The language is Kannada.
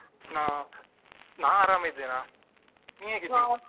ಹ ನಾನ್ ಅರಾಮಿದೇನಾ ನೀ ಹೇಗಿದ್ದಿ?